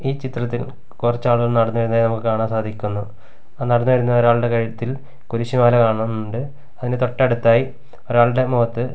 ഈ ചിത്രത്തിൽ കുറച്ചാളുകൾ നടന്നു വരുന്നതായി നമുക്ക് കാണാൻ സാധിക്കുന്നു ആ നടന്നു വരുന്ന ഒരാളുടെ കഴുത്തിൽ കുരിശു മാല കാണുന്നുണ്ട് അതിന് തൊട്ടടുത്തായി ഒരാളുടെ മുഖത്ത്--